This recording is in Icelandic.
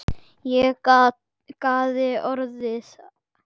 Ég gáði í orða